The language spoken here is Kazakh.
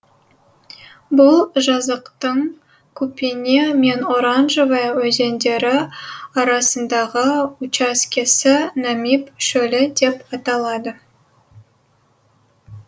бұл жазықтың купене мен оранжевая өзендері арасындағы учаскесі намиб шөлі деп аталады